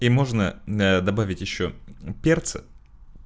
и можно а добавить ещё перца